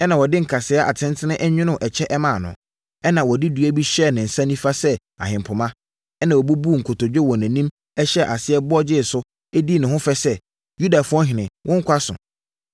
ɛnna wɔde nkasɛɛ atentene nwonoo ɛkyɛ hyɛɛ no, ɛnna wɔde dua bi hyɛɛ ne nsa nifa sɛ ahempoma, ɛnna wɔbubuu nkotodwe wɔ nʼanim hyɛɛ aseɛ bɔ gyee so, dii ne ho fɛ sɛ, “Yudafoɔ Ɔhene, wo nkwa so.”